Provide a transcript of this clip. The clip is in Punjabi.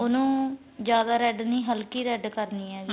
ਉਨੂੰ ਜਿਆਦਾ red ਨੀਂ ਹਲਕੀ red ਕਰਨੀ ਏ ਜੀ